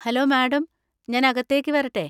Hello madam, ഞാൻ അകത്തേക്ക് വരട്ടെ?